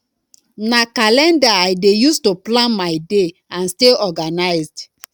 na calendar i dey use to plan my day and stay organized